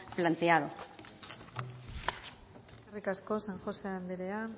planteado eskerrik asko san josé anderea